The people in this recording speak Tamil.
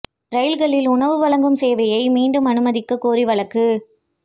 ரயில்களில் உணவு வழங்கும் சேவையை மீண்டும் அனுமதிக்கக் கோரி வழக்கு